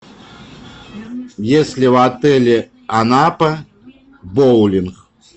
есть ли в отеле анапа боулинг